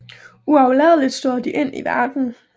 Uafladeligt støder de ind i verden